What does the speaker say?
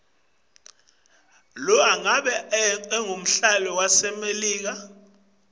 umnotfo waleli usebentelana nemelika